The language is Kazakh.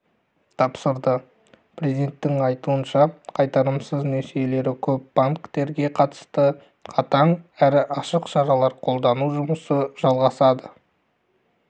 тапсырды президенттің айтуынша қайтарымсыз несиелері көп банктерге қатысты қатаң әрі ашық шаралар қолдану жұмысы жалғасады